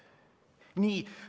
Nii.